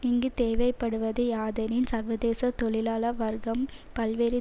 இங்கு தேவைப்படுவது யாதெனில் சர்வதேச தொழிலாள வர்க்கம் பல்வேறு